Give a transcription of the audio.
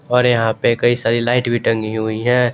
और यहां पे कई सारी लाइट भी टंगी हुई हैं।